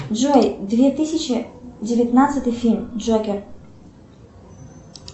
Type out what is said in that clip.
джой две тысячи девятнадцатый фильм джокер